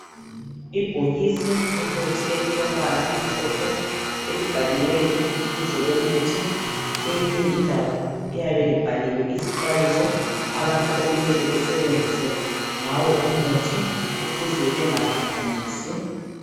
Ibhokisi lomuthi elilombala omhlophe elibhaliweyo ibizo lomuthi kweyinye indawo liyabe libhaliwe izixwayiso ezimele zilandelwe ngabantu abasebenzisa lumuthi ukuze bengaphambanisi.